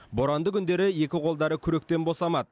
боранды күндері екі қолдары күректен босамады